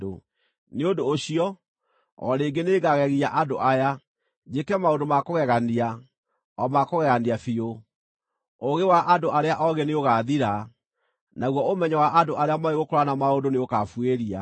Nĩ ũndũ ũcio, o rĩngĩ nĩngagegia andũ aya, njĩke maũndũ ma kũgegania, o ma kũgegania biũ; ũũgĩ wa andũ arĩa oogĩ nĩũgaathira, naguo ũmenyo wa andũ arĩa moĩ gũkũũrana maũndũ nĩũkabuĩria.”